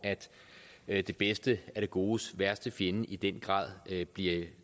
at det bedste er det godes værste fjende i den grad bliver